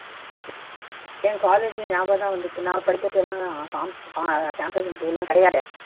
என் college ஞாபகம் தான் வந்துச்சு நான் படிக்கிறச்ச எல்லாம் கா campus interview எல்லாம் கிடையாதே